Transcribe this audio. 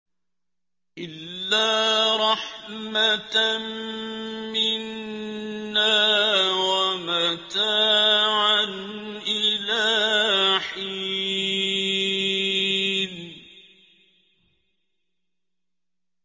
إِلَّا رَحْمَةً مِّنَّا وَمَتَاعًا إِلَىٰ حِينٍ